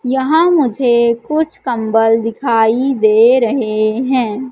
यहां मुझे कुछ कंबल दिखाई दे रहे हैं।